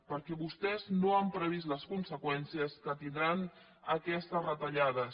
perquè vostès no han previst les conseqüències que tindran aquestes retallades